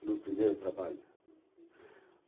O meu primeiro trabalho. Uhum.